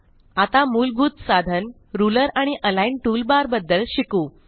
आता मुलभूत साधन रुलर आणि अलिग्न टूलबार बद्दल शिकू